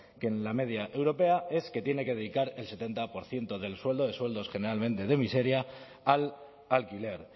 que en la media europea es que tiene que dedicar el setenta por ciento del sueldo de sueldos generalmente de miseria al alquiler